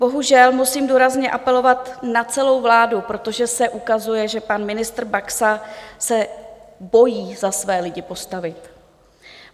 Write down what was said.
Bohužel musím důrazně apelovat na celou vládu, protože se ukazuje, že pan ministr Baxa se bojí za své lidi postavit.